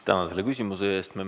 Tänan selle küsimuse eest!